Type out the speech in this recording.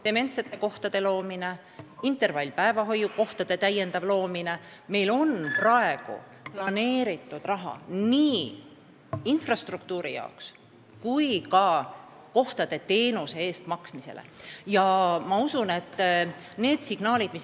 Dementsete inimeste jaoks kohtade loomine, intervallpäevahoiu kohtade täiendav loomine – meil on praegu planeeritud raha nii infrastruktuuri jaoks kui ka kohtadega kaasnevate teenuse eest maksmiseks.